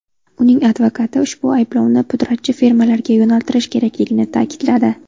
Uning advokati ushbu ayblovni pudratchi firmalarga yo‘naltirish kerakligini ta’kidladi.